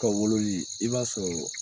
Ka wololi i b'a sɔrɔ